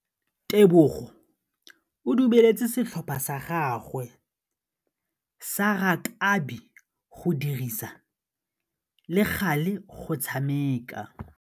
Tebogô o dumeletse setlhopha sa gagwe sa rakabi go dirisa le galê go tshameka.